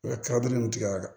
U ka tigɛ a kan